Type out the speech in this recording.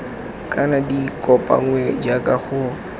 kana di kopanngwe jaaka go